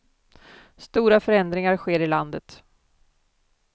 Stora förändringar sker i landet.